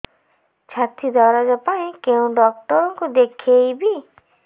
ଛାତି ଦରଜ ପାଇଁ କୋଉ ଡକ୍ଟର କୁ ଦେଖେଇବି